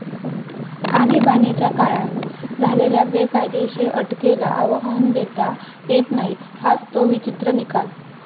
आणीबाणीच्या काळात झालेल्या बेकायदेशीर अटकेला आवाहन देता येत नाही हाच तो विचित्र निकाल.